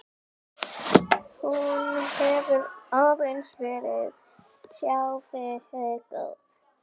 Hún hefur aðeins verið sjálfri sér góð.